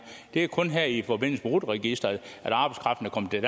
det er kun her i forbindelse med rut registeret